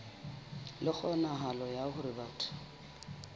le kgonahalo ya hore batho